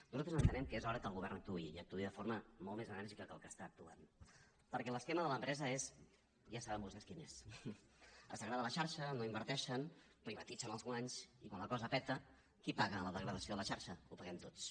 nosaltres entenem que és hora que el govern actuï i actuï de forma molt més enèrgica del que està actuant perquè l’esquema de l’empresa ja saben vostès quin és es degrada la xarxa no inverteixen privatitzen els guanys i quan la cosa peta qui paga la degradació de la xarxa la paguem tots